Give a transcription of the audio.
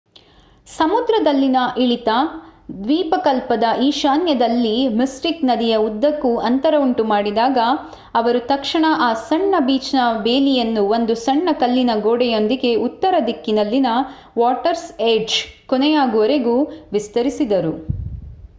ಸಮುದ್ರದಲ್ಲಿನ ಇಳಿತ ದ್ವೀಪಕಲ್ಪದ ಈಶಾನ್ಯದಲ್ಲಿ ಮಿಸ್ಟಿಕ್ ನದಿಯ ಉದ್ದಕ್ಕೂ ಅಂತರ ಉಂಟು ಮಾಡಿದಾಗ ಅವರು ತಕ್ಷಣ ಆ ಸಣ್ಣ ಬೀಚ್‌ನ ಬೇಲಿಯನ್ನು ಒಂದು ಸಣ್ಣ ಕಲ್ಲಿನ ಗೋಡೆಯೊಂದಿಗೆ ಉತ್ತರದಿಕ್ಕಿನಲ್ಲಿನ ವಾಟರ್ಸ್ ಏಡ್ಜ್ ಕೊನೆಯಾಗುವವರೆಗೆ ವಿಸ್ತರಿಸಿದರು